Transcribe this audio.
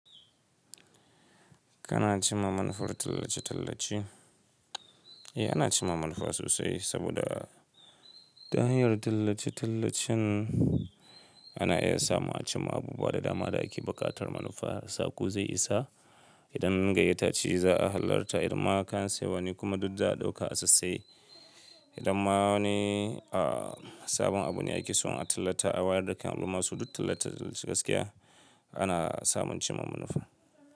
Kana cimma manufar tallace-tallace? Eh, ana cimma manufa sosai saboda ta hanyar tallace-tallacen ana iya samun a cimma abubuwa da dama. Da ake buƙatar manufa, sako zai isa. Idan gayyata ce za a halarta, idan ma kayan sayarwane kuma duk za a ɗauka a sassai. Idan ma wani, a sabon abu ne ake so a tallata, a wayar da kan al'umma so duk tallace-tallace gaskiya ana samun cimma manufa.